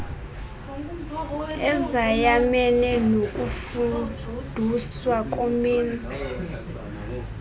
ezayamene nokufuduswa komenzi